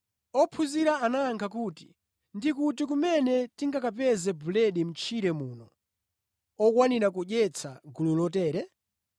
Ophunzira anayankha kuti, “Ndikuti kumene tingakapeze buledi mʼtchire muno okwanira kudyetsa gulu lotere?”